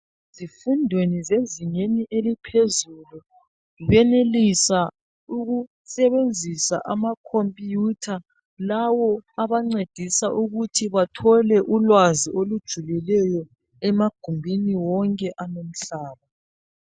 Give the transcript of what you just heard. Ezifundweni zezingeni eliphezulu benelisa ukusebenzisa amakhompuyutha lawo abancedisa ukuthi bathole ulwazi olujulileyo emagumbini wonke alumhlaba.